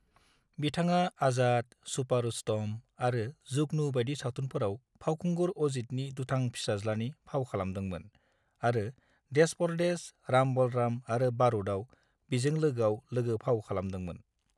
बिथाङा 'आजाद', 'छुपा रुस्तम' आरो 'जुगनू' बायदि सावथुनफोराव फावखुंगुर अजीतनि दुथां फिसाज्लानि फाव खालामदोंमोन आरो 'देस परदेस', 'राम बलराम' आरो 'बारूद'आव बिजों लोगोआव लोगो-फाव खालामदोंमोन।